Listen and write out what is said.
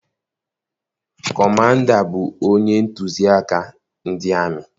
Kọmanda bụ onye ntusi aka ndị aka.